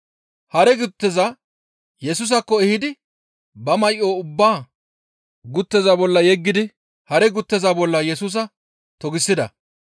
Hare gutteza Yesusaakko ehidi ba may7o ubbaa gutteza bolla yeggidi hare gutteza bolla Yesusa togisida.